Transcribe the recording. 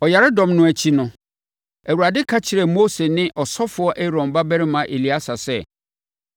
Ɔyaredɔm no akyi no, Awurade ka kyerɛɛ Mose ne ɔsɔfoɔ Aaron babarima Eleasa sɛ,